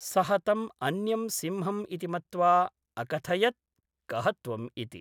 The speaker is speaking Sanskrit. सः तम् अन्यं सिंहम् इति मत्वा अकथयत् कः त्वम् इति ?